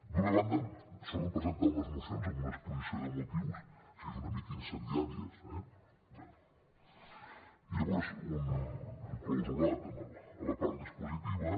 d’una banda solen presentar unes mocions amb una exposició de motius així una mica incendiàries eh i llavors un clausulat en la part dispositiva